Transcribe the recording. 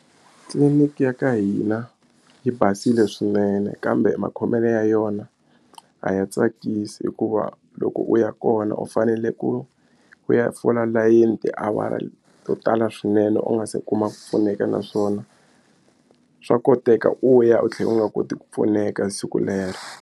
Tliliniki ya ka hina yi basile swinene kambe makhomelo ya yona a ya tsakisi hikuva loko u ya kona u fanele ku ku ya fola layeni tiawara to tala swinene u nga se kuma ku pfuneka naswona swa koteka u ya u tlhela u nga koti ku pfuneka siku lero.